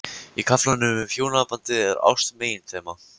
Í kaflanum um hjónabandið er ást meginþema.